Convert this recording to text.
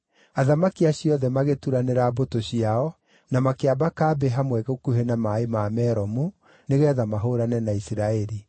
Athamaki acio othe magĩturanĩra mbũtũ ciao, na makĩamba kambĩ hamwe gũkuhĩ na maaĩ ma Meromu, nĩgeetha mahũũrane na Isiraeli.